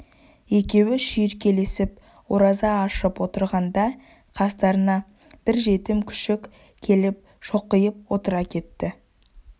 екеуі шүйіркелесіп ораза ашып отырғанда қастарына бір жетім күшік келіп шоқиып отыра кетті